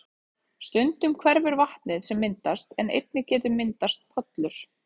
Stundum hverfur vatnið sem myndast en einnig getur myndast pollur.